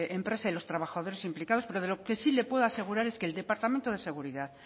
empresa y los trabajadores implicados pero lo que sí le puedo asegurar es que el departamento de seguridad